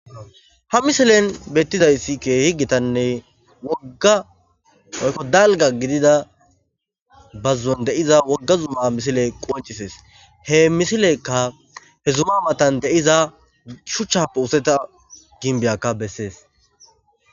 ha misilen beettidayssikke higgitanne wogga oykko dalga gidida bazzon de7iza wogga zumma misile qoncisees he misilekka he zuma matan deiza shuchchappe useta ginbiyakka bessees